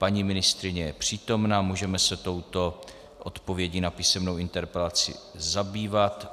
Paní ministryně je přítomna, můžeme se touto odpovědí na písemnou interpelaci zabývat.